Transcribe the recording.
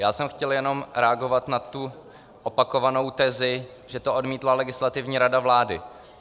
Já jsem chtěl jen reagovat na tu opakovanou tezi, že to odmítla Legislativní rada vlády.